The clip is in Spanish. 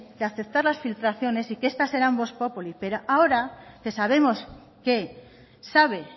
de aceptar las filtraciones y que estas sean vox populi pero ahora que sabemos que sabe